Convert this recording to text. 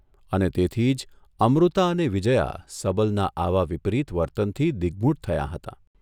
અને તેથી જ અમૃતા અને વિજયા સબલના આવા વિપરીત વર્તનથી દિગ્મૂઢ થયાં હતાં.